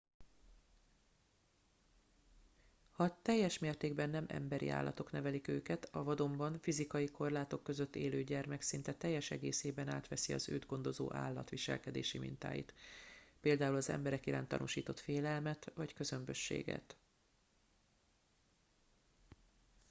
ha teljes mértékben nem emberi állatok nevelik őket a vadonban fizikai korlátok között élő gyermek szinte teljes egészében átveszi az őt gondozó állat viselkedési mintáit például az emberek iránt tanúsított félelmet vagy közömbösséget